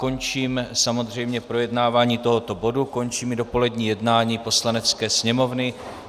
Končím samozřejmě projednávání tohoto bodu, končím i dopolední jednání Poslanecké sněmovny.